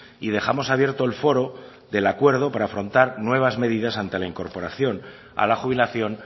y dejamos abierto el foro del acuerdo para afrontar nuevas medidas ante la incorporación a la jubilación